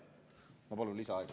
Ma palun lisaaega.